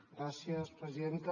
gràcies presidenta